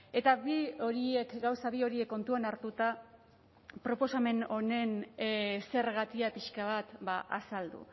eta bi horiek gauza bi horiek kontuan hartuta proposamen honen zergatia pixka bat azaldu